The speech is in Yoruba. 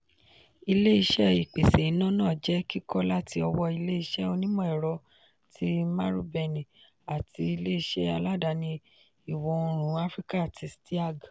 ilé-iṣé ìpèsè iná náà jẹ kíkọ́ láti ọwọ́ ilé-iṣé onimọ-ẹrọ ti marubeni àti ilé-iṣé aládàáni ìwọ òórùn áfíríkà tí steag